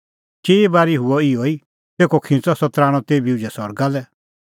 चिई बारी हुअ इहअ ई तेखअ खिंच़अ सह तराणअ तेभी उझै सरगा लै